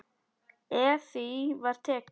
Eftir því var tekið.